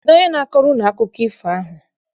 Kedụ onye na-akọrọ unu akụkọ ifo ahụ?